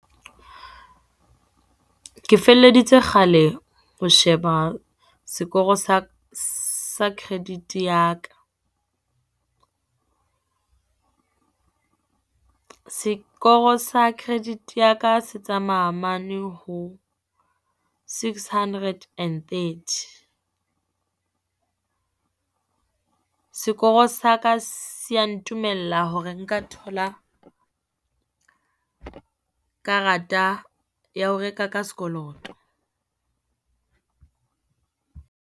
Ke felleditse kgale ho sheba sekoro sa, sa credit-e ya ka. Sekoro sa credit ya ka se tsamaya mane ho six hundred and thirty. Sekoro sa ka se ya ntumella hore nka thola karata ya ho reka ka sekoloto.